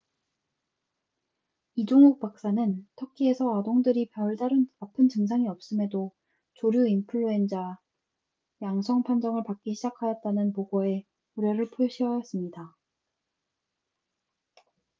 이종욱 박사는 터키에서 아동들이 별다른 아픈 증상이 없음에도 조류인플루엔자h5n1 양성 판정을 받기 시작하였다는 보고에 우려를 표시하였습니다